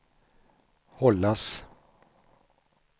hållas